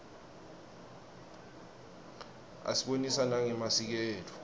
asibonisa nangemasiko etfu